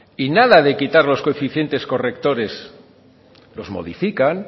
y nada de quitar los coeficientes correctores los modifican